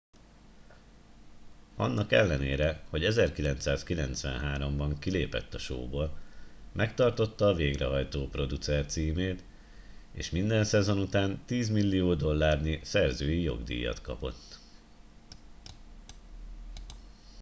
annak ellenére hogy 1993 ban kilépett a showból megtartotta a végrehajtó producer címét és minden szezon után tízmillió dollárnyi szerzői jogdíjat kapott